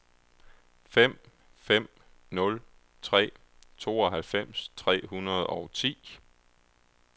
fem fem nul tre tooghalvfems tre hundrede og ti